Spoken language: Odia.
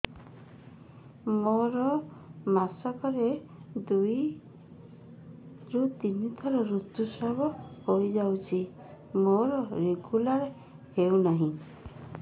ମୋର ମାସ କ ରେ ଦୁଇ ରୁ ତିନି ଥର ଋତୁଶ୍ରାବ ହେଇଯାଉଛି ମୋର ରେଗୁଲାର ହେଉନାହିଁ